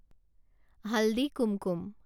haldi Kumkum